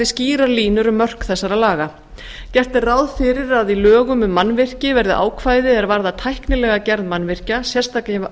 skýrar línur um mörk þessara laga gert er ráð fyrir að í lögum um mannvirki verði ákvæði er varða tæknilega gerð mannvirkja